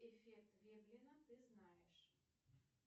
эффект веблина ты знаешь